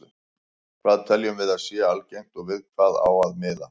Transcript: Hvað teljum við að sé algengt og við hvað á að miða?